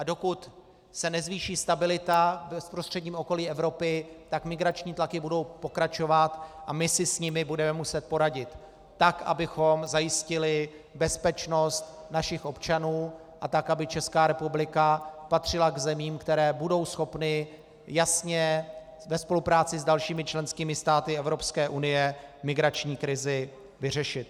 A dokud se nezvýší stabilita v bezprostředním okolí Evropy, tak migrační tlaky budou pokračovat a my si s nimi budeme muset poradit, tak abychom zajistili bezpečnost našich občanů a tak aby Česká republika patřila k zemím, které budou schopny jasně ve spolupráci s dalšími členskými státy Evropské unie migrační krizi vyřešit.